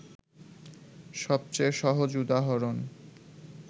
সবচেয়ে সহজ উদাহরণ